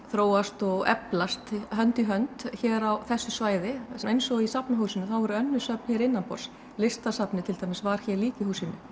þróast og eflast hönd í hönd hér á þessu svæði eins og í Safnahúsinu þá voru önnur söfn hér innanborðs listasafnið til dæmis var hér líka í húsinu